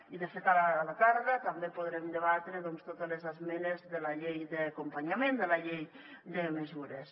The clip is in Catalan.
i de fet a la tarda també podrem debatre totes les esmenes de la llei d’acompanyament de la llei de mesures